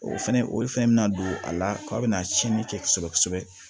O fɛnɛ olu fɛnɛ bɛna don a la k'a bɛna tiɲɛni kɛ kosɛbɛ